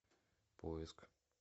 поиск